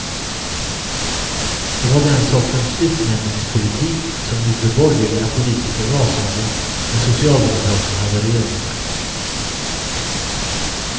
Det var den sortens utnämningspolitik som gjorde borgerliga politiker rasande när socialdemokraterna hade regeringsmakten.